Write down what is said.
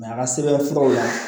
a ka sɛbɛn furaw la